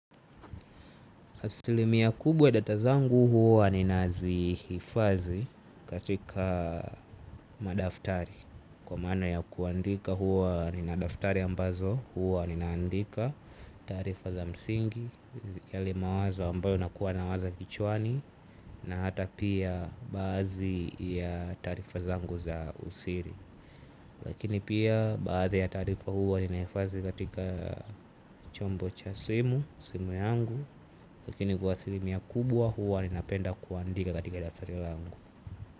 Hasilimiya kubwa data zangu huwa ninazihifadhi katika madaftari. Kwa mana ya kuandika huwa nina daftari ambazo huwa ninaandika tarifa za msingi. Yale mawazo ambayo nakuwa nawaza kichwani na hata pia badhi ya tarifa zangu za usiri. Lakini pia badhi ya tarifa huwa ninaifadhi katika chombo cha simu, simu yangu lakini kua asilimia kubuwa huwa ni na penda kuandika katika daftari langu.